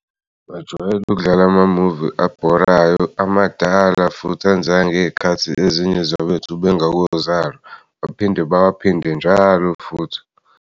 Bajwayele ukudlala amamuvi abhorayo amadala futhi anzeka ngeyi'khathi ezinye zabethu bengakozalo. Baphinde bawaphinde njalo futhi.